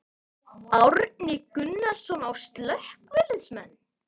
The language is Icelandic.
Árni Gunnarsson: Á slökkviliðsmenn?